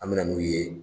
An mɛna n'u ye